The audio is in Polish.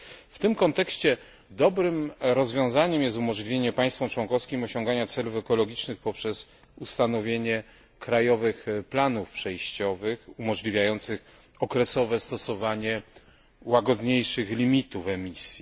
W tym kontekście dobrym rozwiązaniem jest umożliwienie państwom członkowskim osiągania celów ekologicznych poprzez ustanowienie krajowych planów przejściowych, umożliwiających okresowe stosowanie łagodniejszych limitów emisji.